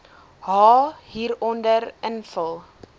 h hieronder invul